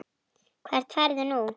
Hvert ferðu nú?